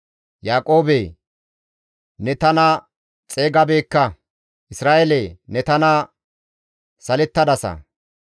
«Yaaqoobe, ne tana xeygabeekka; Isra7eele, ne tana salettadasa.